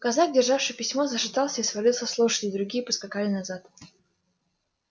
казак державший письмо зашатался и свалился с лошади другие поскакали назад